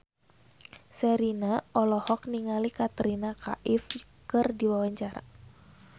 Sherina olohok ningali Katrina Kaif keur diwawancara